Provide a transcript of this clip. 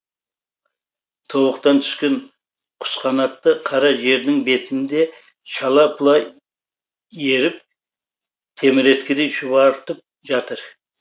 тобықтан түскен құсқанатты қара жердің бетінде шала пұла еріп теміреткідей шұбартып жатыр